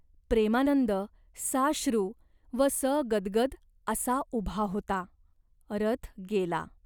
प्रेमानंद साश्रू व सगद्गद असा उभा होता. रथ गेला.